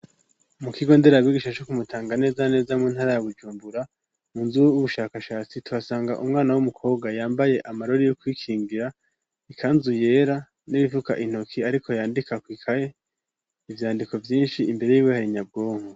Mu kigo ndera bigisha co kumutanga neza neza muntara ya bujumbura mu nzu y'ubushakashatsi turasanga umwana w'umukobwa yambaye amarori yo kwikingira, ikanzu yera n'ibifuka intoki ariko yandika kw'ikaye ivyandiko vyinshi imbere yiwe hari imashini nyabwonko.